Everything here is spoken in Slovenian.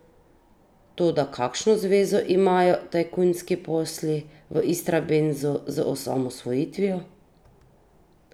Toda kakšno zvezo imajo tajkunski posli v Istrabenzu z osamosvojitvijo?